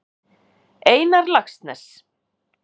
Einar Laxness.